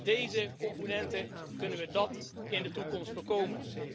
Met deze componenten kunnen we dat in de toekomst voorkomen.